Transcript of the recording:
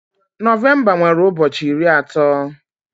Nọvemba nwere ụbọchị iri atọ